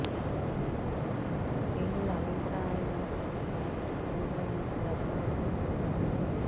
పేలుళ్ల అనంతరం ఆయన శ్వేత సౌధం నుంచి ప్రజలను ఉద్దేశించి ప్రసంగించారు